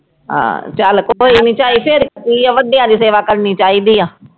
ਆਹ ਚਲ ਕੋਈ ਨੀ ਝਾਈ ਫਿਰ ਕੀ ਆ ਵੱਡਿਆਂ ਦੀ ਸੇਵਾ ਕਰਨੀ ਚਾਹੀਦੀ ਆ